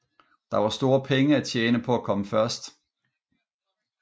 Der var store penge at tjene på at komme først